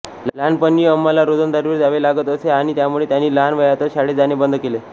लहानपणी अम्माला रोजंदारीवर जावे लागत असे आणि त्यामुळे त्यांनी लहान वयातच शाळेत जाणे बंद केले